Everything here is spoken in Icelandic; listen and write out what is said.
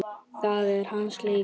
Það er hans leikur.